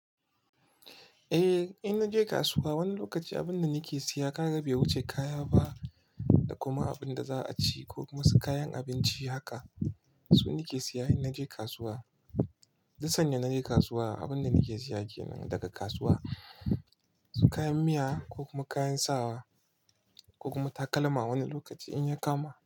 Eh, in naje kasuwa wani lokaci abin da nike siya kaga bai wuce kaya ba da kuma abin da za a ci ko kuma su kayan abinci haka. Su nike siya in naje kasuwa. Duk sanya naje kasuwa abin da nike siya kenan daga kasuwa su kayan miya ko kuma kayan sawa ko kuma takalma wani lokaci in ya kama.